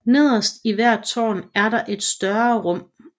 Nederst i hvert tårn er der et større rum